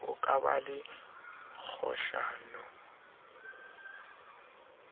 ho ka ba le kgohlano